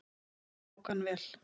Því tók hann vel.